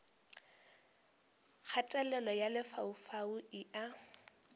kgatelelo ya lefaufau e a